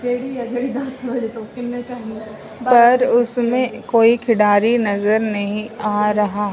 पर उसमें कोई खिड़ाड़ी नजर नहीं आ रहा।